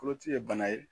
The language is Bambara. Koloci ye bana ye